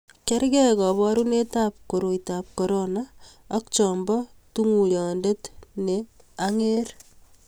kergei kaborunoetab koroitab korona ak cha bo tunguyonde ne ang'er